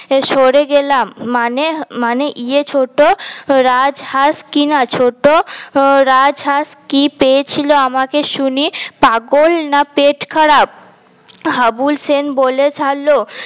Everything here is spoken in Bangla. সরে গেলাম মানে মানে ইয়ে ছোট রাজ হাস কিনা ছোট রাজ হাস কি পেয়েছিল আমাকে শুনি পাগল না পেট খারাপ হাবুল সেন বলে ফেলো